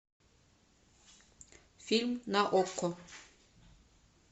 фильм на окко